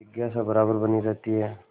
जिज्ञासा बराबर बनी रहती है